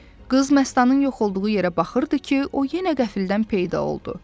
Qız Məstanın yox olduğu yerə baxırdı ki, o yenə qəfildən peyda oldu.